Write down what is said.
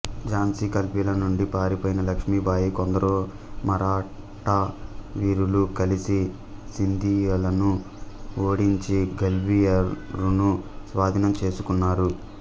ఝాన్సీ కల్పీ ల నుండి పారిపోయిన లక్ష్మీబాయి కొందరు మరాఠా వీరులూ కలిసి సిందియాలను ఓడించి గ్వాలియరును స్వాధీనం చేసుకున్నారు